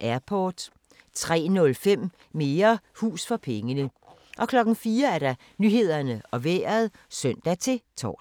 Airport 03:05: Mere hus for pengene 04:00: Nyhederne og Vejret (søn-tor)